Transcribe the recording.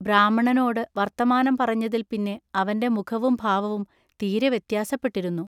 ബ്രാഹ്മണനോടു വൎത്തമാനം പറഞ്ഞതിൽ പിന്നെ അവന്റെ മുഖവും ഭാവവും തിരെ വ്യത്യാസപ്പെട്ടിരുന്നു.